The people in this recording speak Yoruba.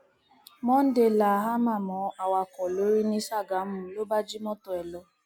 monday la háàmà mọ awakọ lórí ní sàgámù ló bá jí mọtò ẹ lọ